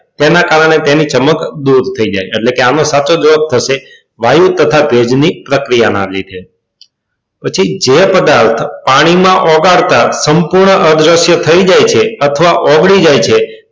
તેના કારણે તેની ચમક દૂર થઈ જાય એટલે કે એનો સાચો જવાબ થશે વાયો તથા ભેજ ની પ્રક્રિયાના લીધે પછી જે પદાર્થ પાણી માં ઓગાળતા સંપૂર્ણ અદ્રશ્ય થઈ જાય અથવા ઓગળી જાય છે.